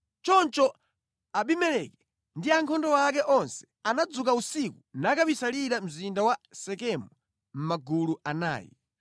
Choncho Abimeleki ndi ankhondo ake onse anadzuka usiku nakabisalira mzinda wa Sekemu mʼmagulu anayi.